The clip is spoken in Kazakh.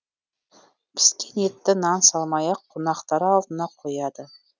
піскен етті нан салмай ақ қонақтар алдына қояды